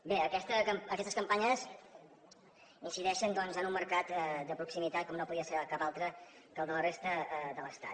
bé aquestes campanyes incideixen en un mercat de proximitat que no podia ser cap altre que el de la resta de l’estat